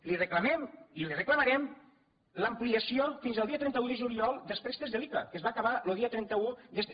li reclamem i li reclamarem l’ampliació fins al dia trenta un de juliol dels préstecs de l’ica que es va acabar lo dia trenta un d’este